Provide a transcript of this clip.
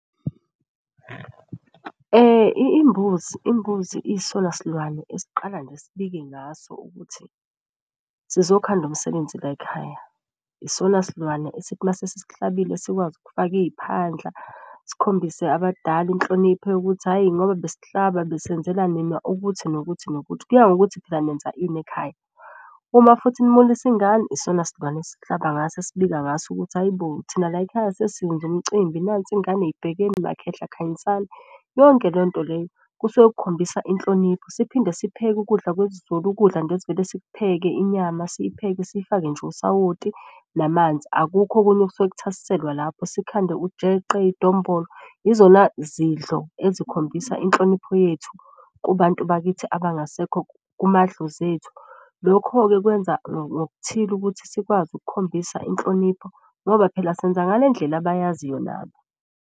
Imbuzi isona silwane esiqala nje sibike ngaso ukuthi sizokhanda umsebenzi layikhaya. Isona silwane esithi mase sisihlabile sikwazi ukufaka iy'phandla sikhombise abadala inhlonipho yokuthi, hhayi ngoba besihlaba besenzela nina ukuthi nokuthi nokuthi. Kuya ngokuthi phela nenza ini ekhaya. Uma futhi nimulisa ingane isona silwane esihlaba ngaso, esibika ngaso ukuthi hayi bo thina layikhaya sesenza umcimbi. Nansi ingane ibhekeni makhehla khanyisani, yonke lento leyo kusuke kukhombisa inhlonipho. Siphinde sihlupheke ukudla kwesiZulu, ukudla nje esivele sikupheke inyama siyiphenye siyifake nje usawoti namanzi. Akukho okunye okusuke kuthasiselwa lapho, sikhande ujeqe, idombolo. Izona zidlo ezikhombisa inhlonipho yethu kubantu bakithi abangasekho kumadlozi ethu. Lokho-ke kwenza ngokuthile ukuthi sikwazi ukukhombisa inhlonipho ngoba phela senza ngale ndlela abayaziyo nabo.